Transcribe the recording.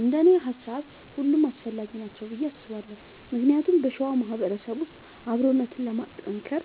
እንደኔ ሃሳብ ሁሉም አስፈላጊ ናቸው ብዬ አስባለሁ ምክንያቱም በሸዋ ማህበረሰብ ውስጥ አብሮነትን ለማጥከር